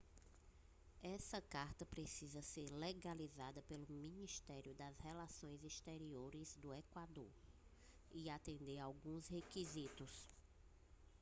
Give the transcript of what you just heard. essa carta precisa ser legalizada pelo ministério das relações exteriores do equador e atender a alguns requisitos